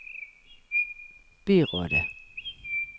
byrådet